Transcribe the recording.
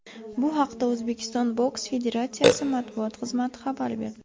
Bu haqda O‘zbekiston boks federatsiyasi matbuot xizmati xabar berdi.